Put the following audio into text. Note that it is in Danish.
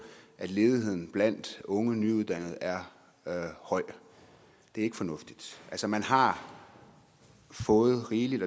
at ledigheden blandt unge nyuddannede er høj det er ikke fornuftigt altså man har fået rigeligt